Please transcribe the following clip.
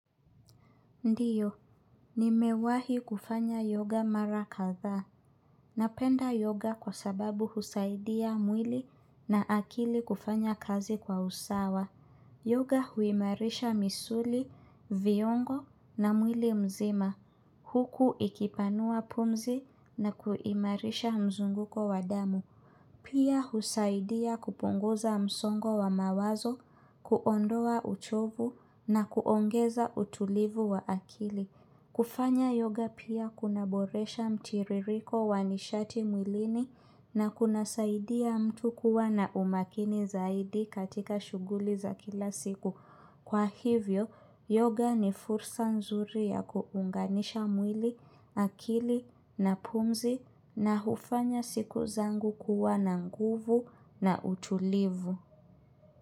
Ndio, nimewahi kufanya yoga mara kadhaa. Napenda yoga kwa sababu husaidia mwili na akili kufanya kazi kwa usawa. Yoga huimarisha misuli, viungo na mwili mzima. Huku ikipanua pumzi na kuimarisha mzunguko wa damu. Pia husaidia kupunguza msongo wa mawazo, kuondoa uchovu na kuongeza utulivu wa akili. Kufanya yoga pia kunaboresha mtiririko wanishati mwilini na kunasaidia mtu kuwa na umakini zaidi katika shughuli za kila siku. Kwa hivyo, yoga ni fursa nzuri ya kuunganisha mwili, akili na pumzi na hufanya siku zangu kuwa na nguvu na utulivu.